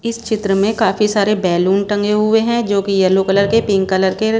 इस चित्र में काफी सारे बैलून टंगे हुए हैं जो की येलो कलर के पिंक कलर के--